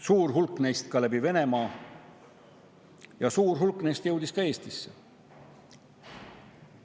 Suur hulk neist läbi Venemaa ja suur hulk neist jõudis ka Eestisse.